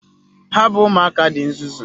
Ha bụ ụmụaka dị nzuzu.